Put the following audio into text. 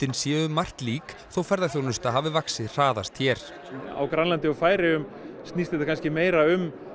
séu um margt lík þó ferðaþjónusta hafi vaxið hraðast hér á Grænlandi og Færeyjum snýst þetta kannski meira um